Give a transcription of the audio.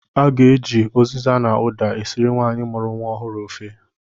A ga-eji ụziza na ụda esiri nwaanyị mụrụ nwa ọhụrụ ofe.